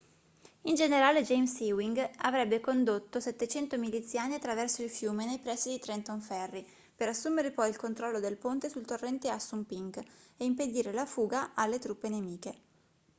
il generale james ewing avrebbe condotto 700 miliziani attraverso il fiume nei pressi di trenton ferry per assumere poi il controllo del ponte sul torrente assunpink e impedire la fuga alle truppe nemiche